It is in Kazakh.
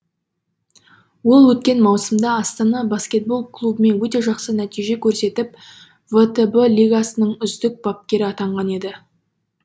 ол өткен маусымда астана баскетбол клубымен өте жақсы нәтиже көрсетіп втб лигасының үздік бапкері атанған еді